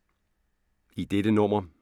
I dette nummer